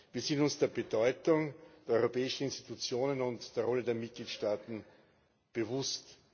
Wir sind uns der Bedeutung der Europäischen Institutionen und der Rolle der Mitgliedstaaten bewusst.